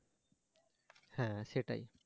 হ্যাঁ সেটাই